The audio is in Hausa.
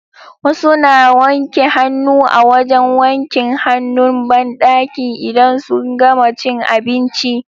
Wasu na wanke hannu a wajan wankin hanun banɗaki idan sun gama cin abinci